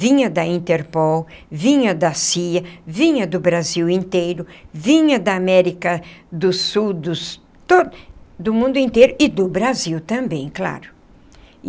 Vinha da Interpol, vinha da CIA, vinha do Brasil inteiro, vinha da América do Sul do to do mundo inteiro e do Brasil também, claro.